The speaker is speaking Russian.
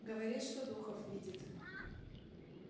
говорит что духов видит